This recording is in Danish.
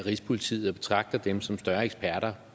rigspolitiet og betragter dem som større eksperter